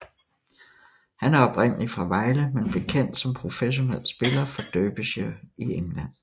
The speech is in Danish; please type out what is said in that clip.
Han er oprindelig fra Vejle men blev kendt som professionel spiller for Derbyshire i England